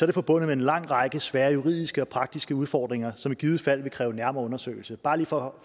det forbundet med en lang række svære juridiske og praktiske udfordringer som i givet fald vil kræve en nærmere undersøgelse bare for